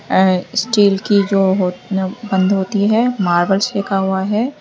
आइ steel की जो हो बंद होती है मार्बल छेका हुआ है।